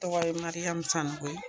Tɔgɔ ye Mariam Sanogo ye